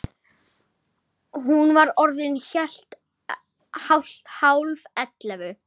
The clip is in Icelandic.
Hún var orðin hálf ellefu.